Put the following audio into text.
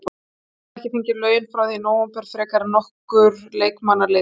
Hann hafði ekki fengið laun frá því í nóvember frekar en nokkur leikmanna liðsins.